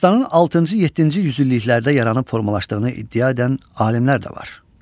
Dastanın altıncı-yeddinci yüzilliklərdə yaranıb formalaşdığını iddia edən alimlər də var.